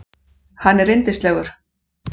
Hann er yndislegur.